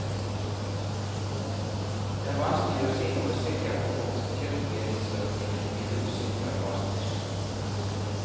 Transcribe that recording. Det er vanskelig å si noe sikkert om hvorfor kirkesøkningen i julen synker drastisk.